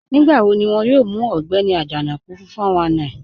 Nígbàwò̀ ní wọn yóò mù Ọ̀gbẹni Ajanaku fún 419?